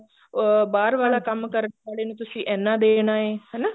ਅਹ ਬਾਹਰ ਵਾਲਾ ਕੰਮ ਕਰਨ ਵਾਲੇ ਨੂੰ ਤੁਸੀਂ ਇੰਨਾ ਦੇਣ ਆਏ ਹਨਾ